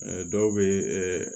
dɔw bɛ ɛ